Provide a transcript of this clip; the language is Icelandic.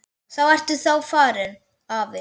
Þá ert þú farinn, afi.